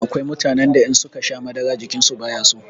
Akwai mutanen da in suka sha madara jikinsu bayaso.